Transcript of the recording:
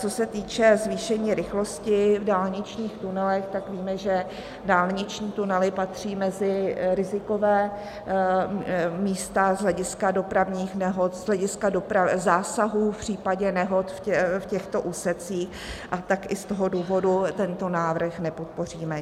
Co se týče zvýšení rychlosti v dálničních tunelech, tak víme, že dálniční tunely patří mezi riziková místa z hlediska dopravních nehod, z hlediska zásahů v případě nehod v těchto úsecích, a tak i z toho důvodu tento návrh nepodpoříme.